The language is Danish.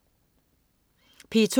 P2: